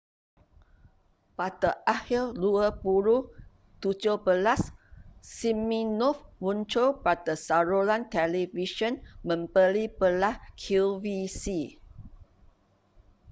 pada akhir 2017 siminoff muncul pada saluran televisyen membeli-belah qvc